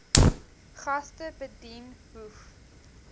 gaste bedien hoef